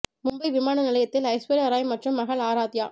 மும்பை விமான நிலையத்தில் ஐஸ்வர்யா ராய் மற்றும் மகள் ஆராத்யா